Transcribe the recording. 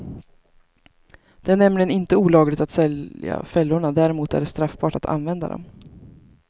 Det är nämligen inte olagligt att sälja fällorna däremot är det straffbart att använda dem.